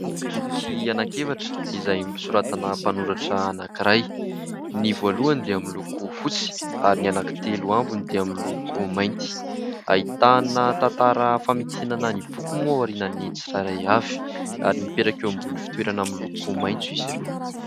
Boky anankefatra izay nosoratana mpanoratra anankiray : ny voalohany dia miloko fotsy ary ny anankitelo ambiny dia miloko mainty. Ahitana tantara famitinana ny boky moa aorianan'ny tsirairay avy ary mipetraka eo ambony fitoerana miloko maintso izy ireo.